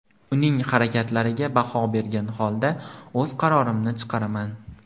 Uning harakatlariga baho bergan holda o‘z qarorimni chiqaraman.